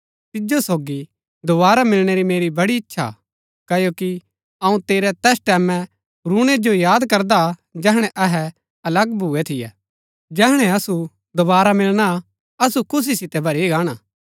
तिजो सोगी दोवारा मिलणै री मेरी बड़ी इच्छा हा क्ओकि अऊँ तेरै तैस टैमैं रूणै जो याद करदा जैहणै अहै अलग भुऐ थियै जैहणै असु दोवारा मिलणा असु खुशी सितै भरी गाणा